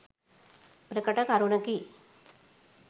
ප්‍රකට කරුණකි.